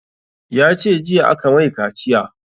Ya ce jiya aka mai kaciya